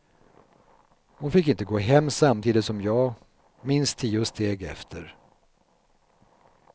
Hon fick inte gå hem samtidigt som jag, minst tio steg efter.